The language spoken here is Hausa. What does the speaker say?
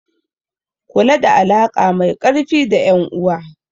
Kula da alaƙa mai ƙarfi da ƴan uwa.